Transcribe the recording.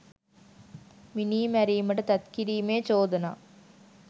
මිනී මැරීමට තැත් කිරීමේ චෝදනා